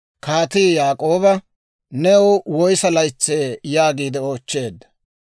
kaatii Yaak'ooba, «New woyssa laytsee?» yaagiide oochcheedda.